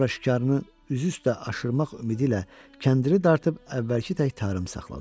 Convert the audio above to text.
Sonra şikarını üzü üstə aşırmaq ümidi ilə kəndiri dartıb əvvəlki tək tarım saxladı.